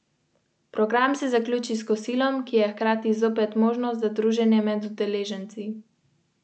V petek so predele, kjer je nekoč Ljubljano obdajala bodeča žica, preplavili šolarji.